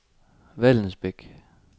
Vallensbæk